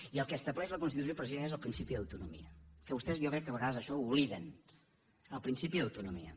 i el que estableix la constitució precisament és el principi d’autonomia que vostès jo crec que a vegades això ho obliden el principi d’autonomia